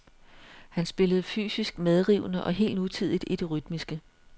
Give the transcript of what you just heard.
Han spillede fysisk medrivende og helt nutidigt i det rytmiske.